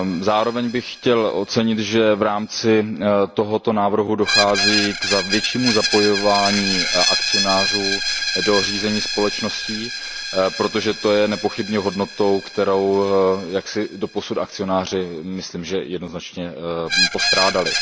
Zároveň bych chtěl ocenit, že v rámci tohoto návrhu dochází k většímu zapojování akcionářů do řízení společností, protože to je nepochybně hodnotou, kterou doposud akcionáři, myslím, jednoznačně postrádali.